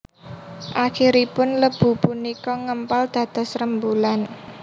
Akhiripun lebu punika ngempal dados rembulan